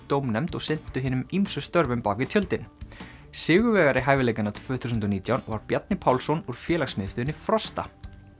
dómnefnd og sinntu hinum ýmsu störfum bak við tjöldin sigurvegari hæfileikanna tvö þúsund og nítján var Bjarni Pálsson úr félagsmiðstöðinni Frosta